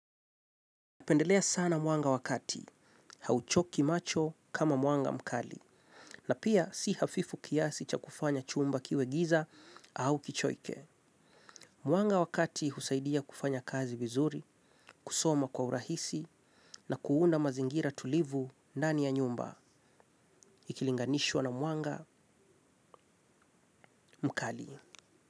Pendelea sana mwanga wa kati, hauchoki macho kama mwanga mkali, na pia si hafifu kiasi cha kufanya chumba kiwe giza au kichoike. Mwanga wa kati husaidia kufanya kazi vizuri, kusoma kwa urahisi na kuunda mazingira tulivu ndani ya nyumba. Ikilinganishwa na mwanga mkali.